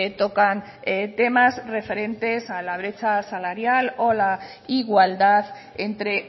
tocan temas referentes a la brecha salarial o la igualdad entre